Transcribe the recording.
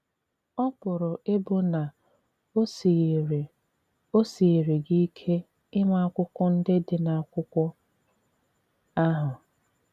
Ọ pụrụ ịbụ na o sighịrị o sighịrị gị ike ịma akwụkwọ ndị dị na akwụkwo ahụ.